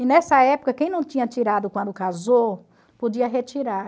E nessa época, quem não tinha tirado quando casou, podia retirar.